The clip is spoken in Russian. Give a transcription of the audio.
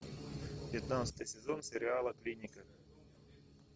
пятнадцатый сезон сериала клиника